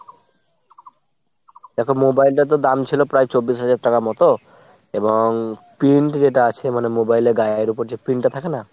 দ্যাখো mobile টো তো দাম ছিল প্রায় চব্বিশ হাজার টাকা মতো এবং print যেটা আছে মানে mobile এর গায়ে ওপর যেটা print টা থাকে না ?